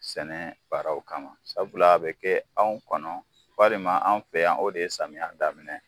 Sɛnɛ baaraw kama, sabula a bɛ kɛ anw kɔnɔ ,walima an fɛ yan , o de ye samiyɛ daminɛ ye